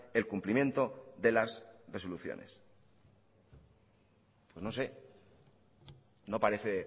el cumplimiento de las resoluciones no sé no parece